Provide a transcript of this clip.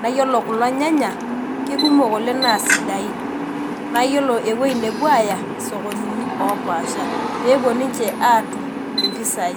na iyolo kulo nyanya kekemok oleng na sidain, na iyolo ewoi napuo aya sokonini opaasha pepuo ninche atum mpisai.